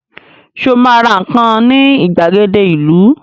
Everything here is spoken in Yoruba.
Sọ ma ra nǹkan ní ìgbàgede ìlú?